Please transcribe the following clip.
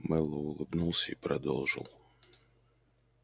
мэллоу улыбнулся и продолжил